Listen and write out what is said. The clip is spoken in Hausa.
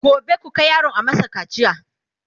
gobe ku Kai yaron a masa kacia!